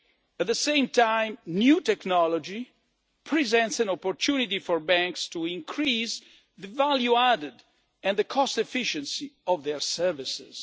At the same time, new technology presents an opportunity for banks to increase the value added and the cost efficiency of their services.